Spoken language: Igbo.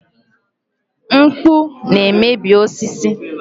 Mkpụ na-emebi osisi.